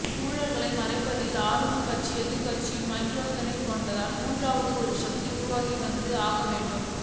ஊழல்களை மறைப்பதில் ஆளும்கட்சியும் எதிர்க்கட்சியும் கைகோர்த்துக்கொண்டால் மூன்றாவதாக ஒரு சக்தி உருவாகி வந்தே ஆகவேண்டும்